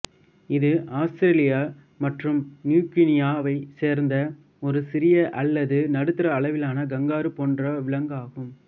இது ஆஸ்திரேலியா மற்றும் நியூ கினியாவைச் சேர்ந்த ஒரு சிறிய அல்லது நடுத்தர அளவிலான கங்காரு போன்ற விலங்கு ஆகும்